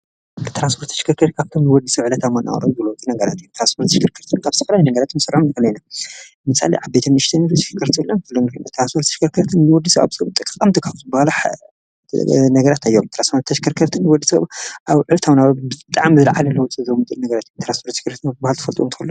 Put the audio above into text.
ትራንፖርትን ተሽከርከርትን ማለት ካብን ናብትን ዝግበር ናይ ተሽከርከርቲ ምንቅስቃስ እዩ። መኪና እትገብሮ ምንቅስቃስ ነዳዲ ምስ ፅርግያ ዘሎ ምትእስሳር እዩ።